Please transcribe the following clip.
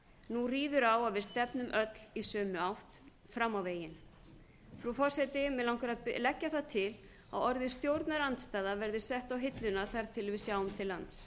nú ríður á að við stefnum öll í sömu átt fram á veginn frú forseti mig langar að leggja það til að orðið stjórnarandstaða verði sett á hilluna þar til við sjáum til lands